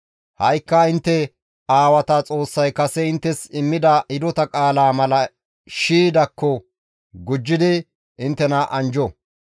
Ha7ikka intte aawata Xoossay kase inttes immida hidota qaalaa mala shii dakko gujjidi inttena anjjo.